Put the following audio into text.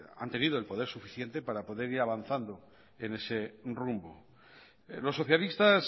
han tenido el poder suficiente para poder ir avanzando en ese rumbo los socialistas